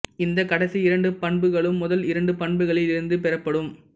இந்த கடைசி இரண்டு பண்புகளும் முதல் இரண்டு பண்புகளில் இருந்து பெறப்படும்